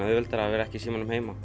auðveldara að vera ekki í símanum heima